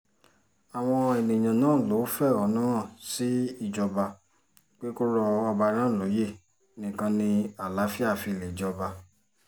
àwọn èèyàn náà lọ́ọ́ fẹ̀hónú hàn sí ìjọba pé kó rọ ọba náà lóyè nìkan ni àlàáfíà fi lè jọba